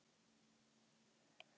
Hlustum á náttúruhljóðin.